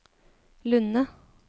Lunde